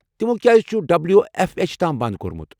تمو کیٛازِ چُھ ڈبلیو ایف ایچ تام بنٛد کوٚرمت؟